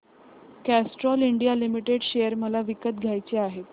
Castrol India limited share मला विकत घ्यायचे आहेत